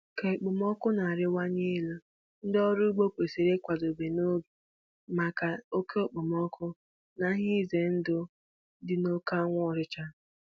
Ka okpomọkụ na-arịwanye elu, ndị ọrụ ugbo kwesịrị ịkwadebe n'oge maka oke okpomọkụ na ihe ize ndụ dị n'oke anwụ ọchịcha.